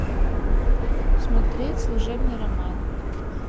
смотреть служебный роман